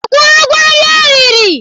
Ọ kwụrụ ụgwọ nri o riri?